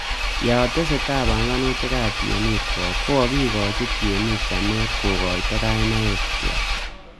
Yatesetai panganutikab tienwogik ,kokikoochi tienik chamet kokoito kainaik keak